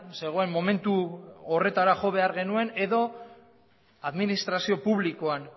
zegoen momentu horretara jo behar genuen edo administrazio publikoan